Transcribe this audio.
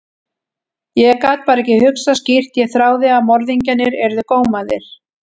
Ég gat bara ekki hugsað skýrt, ég þráði að morðingjarnir yrðu gómaðir.